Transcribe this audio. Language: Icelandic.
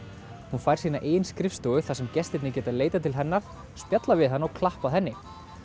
hún fær sína eigin skrifstofu þar sem gestirnir geta leitað til hennar spjallað við hana og klappað henni